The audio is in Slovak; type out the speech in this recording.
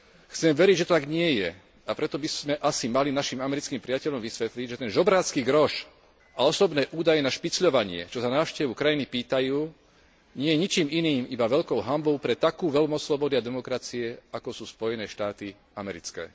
Chceme veriť, že to tak nie je, a preto by sme asi mali našim americkým priateľom vysvetliť, že ten žobrácky groš a osobné údaje na špicľovanie, čo za návštevu krajiny pýtajú, nie je ničím iným iba veľkou hanbou pre takú veľmoc slobody a demokracie, akou sú Spojené štáty americké.